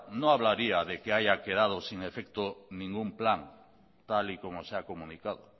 no hablaría de que haya quedado sin efecto ningún plan tal y como se ha comunicado